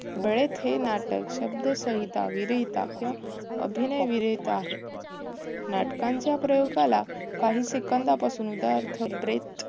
हे नाटक शब्दसंहिता विरहिता किंवा अभिनय विरहित आहे. नाटकांचा प्रयोगाला काही सेकंदापासून